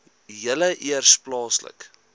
julle eers plaaslik